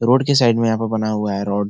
Road के side में यहाँ पे बना हुआ है रोड ।